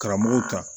Karamɔgɔw kan